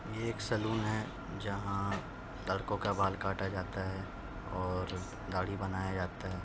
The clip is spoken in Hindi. ये एक सैलून है जहां लड़कों का बाल काटा जाता है और दाढ़ी बनाया जाता है।